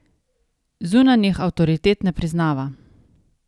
Zunanjih avtoritet ne priznava.